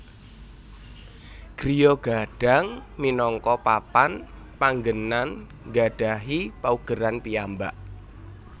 Griya Gadang minangka papan panggenan nggadhahi paugeran piyambak